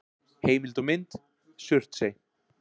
Heimild og mynd: Surtsey.